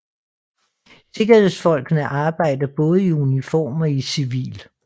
Sikkerhedsfolkene arbejder både i uniform og i civil